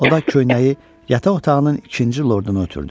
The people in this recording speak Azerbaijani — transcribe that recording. O da köynəyi yataq otağının ikinci lorduna ötürdü.